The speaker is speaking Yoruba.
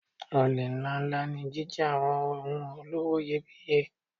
Olè ńláǹlà ní jíjí àwọn ohun olówó iyebíye.